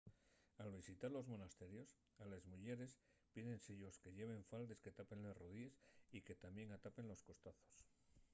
al visitar los monasterios a les muyeres pídese-yos que lleven faldes que tapen les rodíes y que tamién atapen los costazos